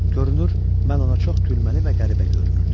Görünür, mən ona çox gülməli və qəribə görünürdüm.